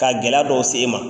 Ka gɛlɛya dɔw se e man.